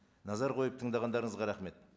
назар қойып тыңдағандарыңызға рахмет